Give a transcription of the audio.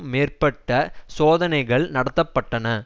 மேற்பட்ட சோதனைகள் நடத்த பட்டன